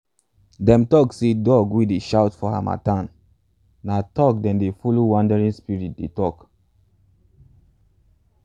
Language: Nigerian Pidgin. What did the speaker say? them tok say dogs wey dey shout for harmattan na talk them dey follow wandering spirits dey tok. um